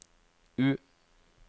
U